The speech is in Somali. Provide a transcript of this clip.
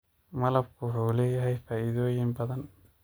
Malabka wuxuu leeyahay faa'iidooyin badan.